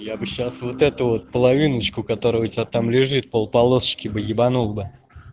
я бы сейчас вот это вот половиночку которая у тебя там лежит пол полоски ебанул бы